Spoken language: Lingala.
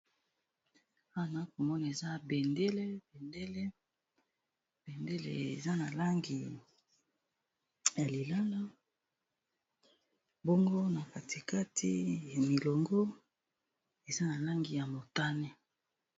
Awa nazalikomona bendele ya langi ya lilala bongo na katikati milongo ya langi ya motane.